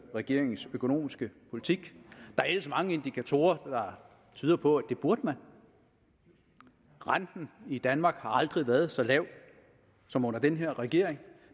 regeringens økonomiske politik der er ellers mange indikatorer der tyder på at det burde man renten i danmark har aldrig været så lav som under den her regering